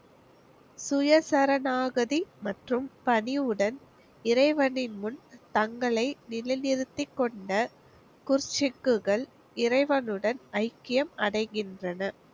சுய சரணாகாதி மற்றும் பணிவுடன் இறைவனின் முன் தங்களை நிலை நிறுத்தி கொண்ட இறைவனுடன் ஐக்கியம் அடைகின்றன.